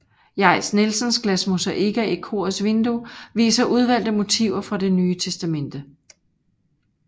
Jais Nielsens glasmosaikker i korets vinduer viser udvalgte motiver fra Det Nye Testamente